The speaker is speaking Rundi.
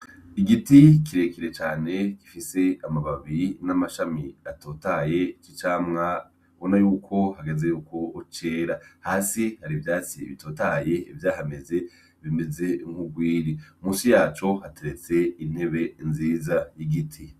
Igiti kirekire cane gifise amababi n' amashami atotahaye c' icamwa ubona yuko hageze yukwo cera. Hasi hari ivyatsi bitotahaye vyahameze bimeze nk' urwiri . Munsi yaco hateretse intebe nziza y' igiti .